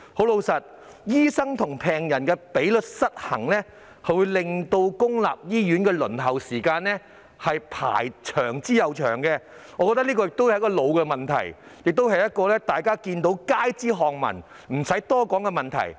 老實說，醫生與病人的比例失衡，會令公立醫院的輪候時間越來越長，我覺得這是一個老問題，亦是街知巷聞、不用多說的問題。